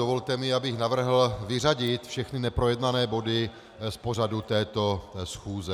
Dovolte mi, abych navrhl vyřadit všechny neprojednané body z pořadu této schůze.